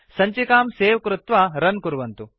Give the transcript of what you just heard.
सञ्चिकां सवे कृत्वा रुन् कुर्वन्तु